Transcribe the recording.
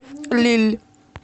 лилль